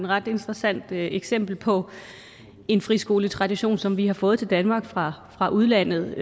ret interessant eksempel på en friskoletradition som vi har fået til danmark fra fra udlandet